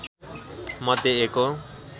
मध्ये एक हो